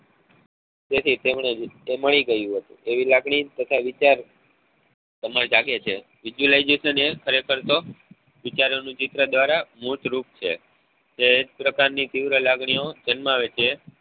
તેથી તેમને એ પુસ્તક મળી ગયું હતું એવી લાગણી તથા વિચાર તેમાં જાગે છે visualisation એ ખરેખર તો વિચારેલું ચિત્ર દ્વારા મૂળ રૂપ છે જે એક પ્રકાર ની તીવ્ર લાગણીઓ દર્શાવે છે